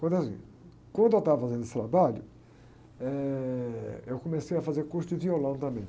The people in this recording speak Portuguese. Aconteceu o seguinte, quando estava fazendo esse trabalho, eh, eu comecei a fazer curso de violão também.